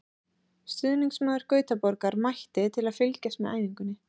Stuðningsmaður Gautaborgar mætti til að fylgjast með æfingunni.